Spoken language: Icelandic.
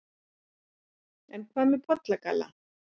en hvað með pollagalla